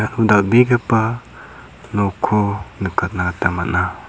dal·begipa nokko nikatna gita man·a.